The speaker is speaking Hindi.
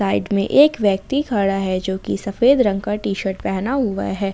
में एक व्यक्ति खड़ा है जो की सफेद रंग का टी शर्ट पहना हुआ है।